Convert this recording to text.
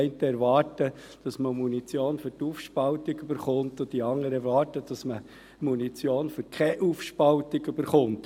Die einen erwarten, dass man Munition für die Aufspaltung erhält, und die anderen erwarten, dass man Munition für Aufspaltung erhält.